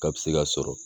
K'a bɛ se ka sɔrɔ